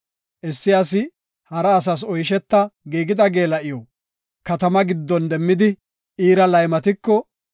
Issi asi hara asas oysheta giigida geela7iw katama giddon demmidi iira laymatiko,